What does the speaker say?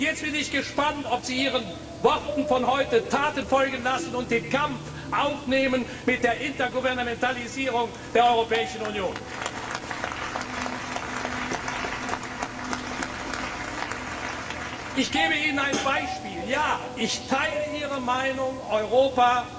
Und jetzt bin ich gespannt, ob Sie Ihren Worten von heute Taten folgen lassen und den Kampf gegen die Intergouvernementalisierung der Europäischen Union aufnehmen. Ich gebe Ihnen ein Beispiel Ja, ich teile Ihre Meinung, Europa